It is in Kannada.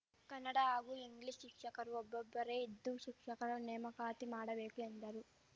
ಕನ್ನಡ ಹಾಗೂ ಇಂಗ್ಲೀಷ್‌ ಶಿಕ್ಷಕರು ಒಬ್ಬೊಬ್ಬರೇ ಇದ್ದು ಶಿಕ್ಷಕರ ನೇಮಕಾತಿ ಮಾಡಬೇಕು ಎಂದರು